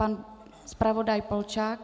Pan zpravodaj Polčák.